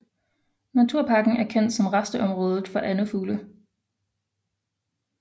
Naturparken er kendt som rasteområde for andefugle